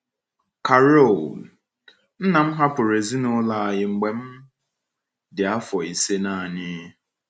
Carol: Nna m hapụrụ ezinụlọ anyị mgbe m dị afọ ise naanị.